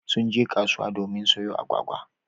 Sun je kasuwa domin sayo agwagwa.